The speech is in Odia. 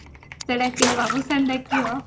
ସିଏ ଡାକିବ ବାବୁସାନ୍ ଡାକିବ